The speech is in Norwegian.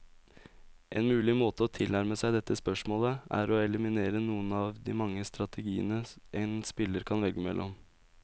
En mulig måte å tilnærme seg dette spørsmålet, er å eliminere noen av de mange strategiene en spiller kan velge mellom.